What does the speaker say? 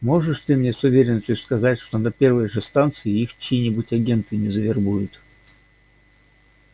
можешь ты мне с уверенностью сказать что на первой же станции их чьи-нибудь агенты не завербуют